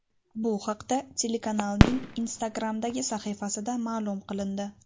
Bu haqda telekanalning Instagram’dagi sahifasida ma’lum qilindi .